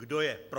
Kdo je pro?